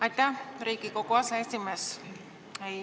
Aitäh, Riigikogu aseesimees!